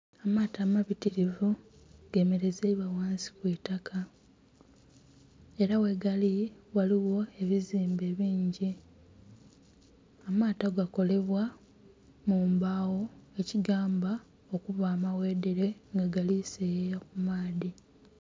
Amaato amabitirivu gemerezaibwa ghansi kwiitaka era ghegali ghaligho ebizimbe bingi. Amaato gakolebwa mumbagho ekigamba okuba amaghedhere nga gali seyeya kumaadhi.